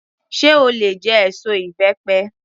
Sé o lè jẹ èso ìbẹ́pẹ?